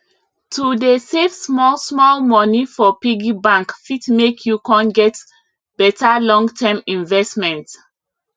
to dey save small small money for piggy bank fit make you con get better long term investment